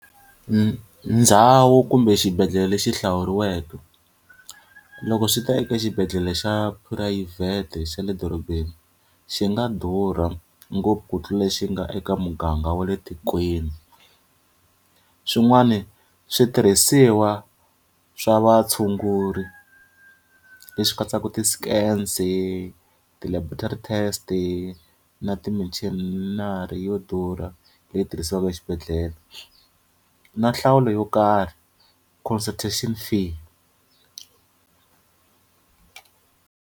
Ndhawu kumbe xibedhlele lexi hlawuriweke. Loko swi ta eka xibedhlele xa phurayivhete xa le dorobeni, xi nga durha ngopfu ku tlula xi nga eka muganga wa le tikweni. Swin'wani switirhisiwa swa vatshunguri leswi katsaka ti-scans-i ti-laboratory test-i na ti-machinery yo durha leyi tirhisiwaka exibedhlele. Na nhlawulo yo karhi consultation fee.